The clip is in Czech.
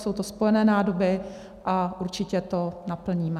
Jsou to spojené nádoby a určitě to naplníme.